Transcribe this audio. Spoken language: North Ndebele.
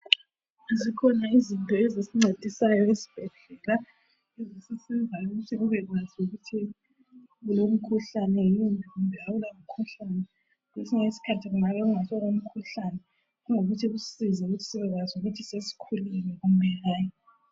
Zikhona izinto ezisincedisayo ezibhedlela ukuze ubekwazi ukuthi ulomkhuhlane yini kumbe awulamkhuhlane kwesinye isikhathi kungaba kungasikho kwemkhuhlane kongokuthi kusize kuthi sibekwazi ukuthi sesikhulelwe kumbe hayi.